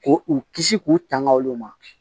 K'u u kisi k'u tanga olu ma